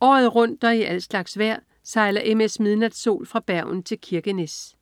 Året rundt og i al slags vejr sejler MS "Midnatsol" fra Bergen til Kirkenes